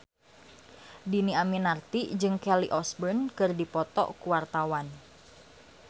Dhini Aminarti jeung Kelly Osbourne keur dipoto ku wartawan